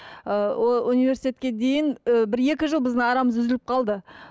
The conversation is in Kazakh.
ы ол университетке дейін ы бір екі жыл біздің арамыз үзіліп қалды